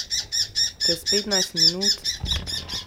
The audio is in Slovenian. Čez petnajst minut?